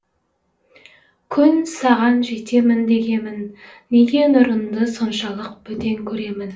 күн саған жетемін дегемін неге нұрыңды соншалық бөтен көремін